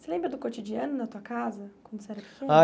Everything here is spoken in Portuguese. Você lembra do cotidiano na tua casa, quando você era pequeno? Ah